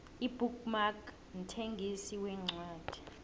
ibook mark mthengisi wencwadi